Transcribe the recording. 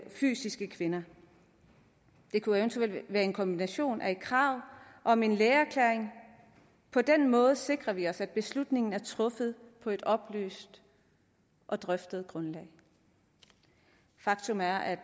fysiske kvinder det kunne eventuelt være en kombination med et krav om en lægeerklæring på den måde sikrer vi os at beslutningen er truffet på et oplyst og drøftet grundlag faktum er at